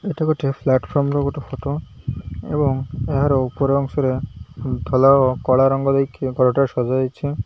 ଏଇଟା ଗୋଟେ ପ୍ଲାଟଫର୍ମ ର ଗୋଟେ ଫଟ ଏବଂ ଏହାର ଉପର ଅଂଶ ରେ ଧଲା ଓ କଳା ରଙ୍ଗ ଦେଇକି କଡରେ ସଜା ଯାଇଛି।